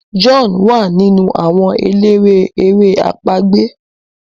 John wá nínú àwọn eléré èrè àpagbè.